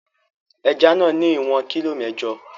Ẹja náà ní ìwọ̀n kilo mẹ́jọ.